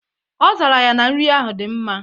Ọ zara ya na nri ahụ dị mma.